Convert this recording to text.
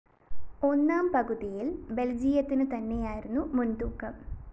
ഒന്നാം പകുതിയില്‍ ബെല്‍ജിയത്തിനു തന്നെയായിരുന്നു മുന്‍തൂക്കം